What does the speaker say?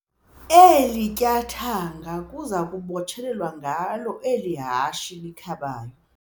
Eli tyathanga kuza kubotshelelwa ngalo eli hashe likhabayo.